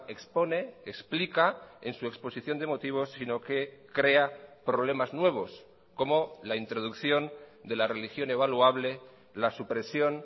expone explica en su exposición de motivos sino que crea problemas nuevos como la introducción de la religión evaluable la supresión